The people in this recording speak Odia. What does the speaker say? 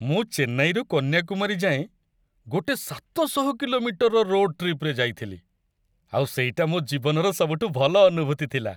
ମୁଁ ଚେନ୍ନାଇରୁ କନ୍ୟାକୁମାରୀ ଯାଏଁ ଗୋଟେ ସାତଶହ କିଲୋମିଟରର ରୋଡ଼୍ ଟ୍ରିପ୍‌ରେ ଯାଇଥିଲି, ଆଉ ସେଇଟା ମୋ' ଜୀବନର ସବୁଠୁ ଭଲ ଅନୁଭୂତି ଥିଲା ।